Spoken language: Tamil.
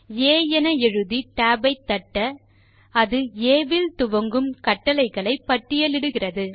ஆ என எழுதி tab ஐ தட்ட ஆ இல் துவங்கும் கட்டளைகளை பட்டியலிடுகிறது